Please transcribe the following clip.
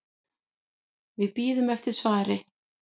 Við bíðum eftir svari.